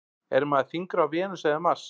Er maður þyngri á Venus eða Mars?